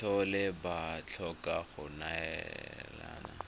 tlhole ba tlhoka go neelana